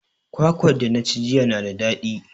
Kwakwar da na ci jiya na da daɗi.